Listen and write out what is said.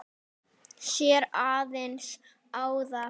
Sér aðeins ána.